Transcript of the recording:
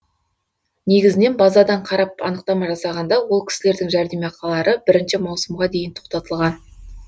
негізінен базадан қарап анықтама жасағанда ол кісілердің жәрдемақылары бір маусымға дейін тоқтатылған